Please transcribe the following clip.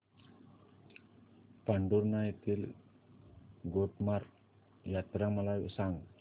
पांढुर्णा येथील गोटमार यात्रा मला सांग